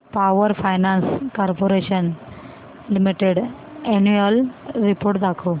power finance corporation limited annual report दाखव